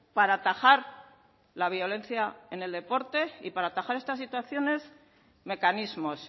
para atajar la violencia en el deporte y para atajar estas situaciones mecanismos